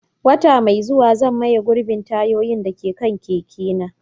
Wata mai zuwa, zan maye gurbin tayoyin da ke kan keke na.